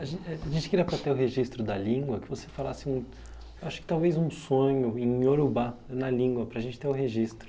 A gen eh, a gente queria para ter o registro da língua, que você falasse um, eu acho que talvez um sonho em Iorubá, na língua, para a gente ter o registro.